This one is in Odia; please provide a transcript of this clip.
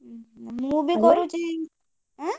ଉଁ ମୁଁ ବି Hello କରୁଛି ଆଁ?